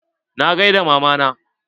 Na gaida mama na.